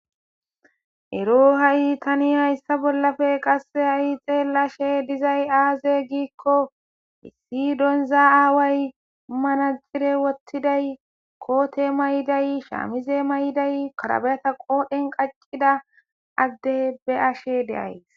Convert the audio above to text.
ero ha7i tani hayssa bollafe qasse ha7i xeellashe dizay aaze giikko issi donza aaway manajjire wottiday koote may7day shaamize may7iday karabeyata qoodhen qaccida adde be ashe deays